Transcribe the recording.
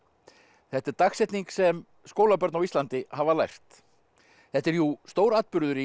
þetta er dagsetning sem skólabörn á Íslandi hafa lært þetta er jú stóratburður í